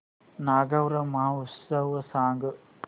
नागौर महोत्सव सांग